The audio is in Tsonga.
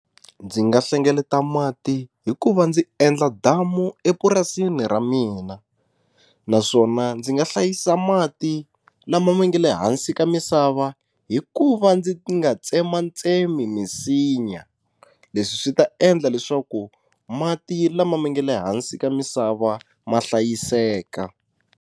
Ndzi nga hlengeleta mati hi ku va ndzi endla damu epurasini ra mina naswona ndzi nga hlayisa mati lama ma nga le hansi ka misava hi ku va ndzi nga tsematsemi misinya leswi swi ta endla leswaku mati lama ma nga le hansi ka misava ma hlayiseka.